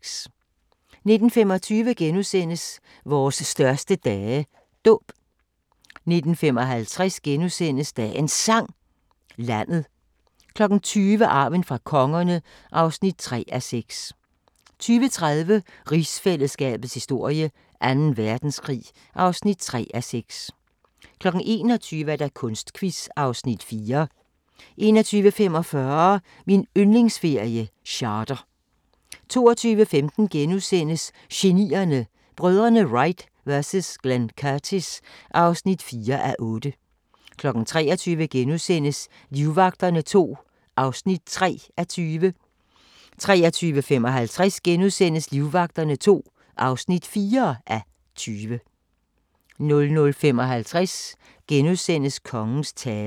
19:25: Vores største dage – Dåb * 19:55: Dagens Sang: Landet * 20:00: Arven fra kongerne (3:6) 20:30: Rigsfællesskabets historie: Anden Verdenskrig (3:6) 21:00: Kunstquiz (Afs. 4) 21:45: Min yndlingsferie: Charter 22:15: Genierne: Brødrene Wright vs Glenn Curtis (4:8)* 23:00: Livvagterne II (3:20)* 23:55: Livvagterne II (4:20)* 00:55: Kongens tale *